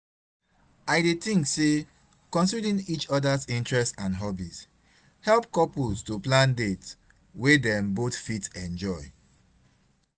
I dey think say considering each oda's interests and hobbies help couples to plan dates wey dem both fit enjoy.